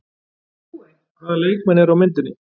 Hvaða leikmenn eru á myndinni?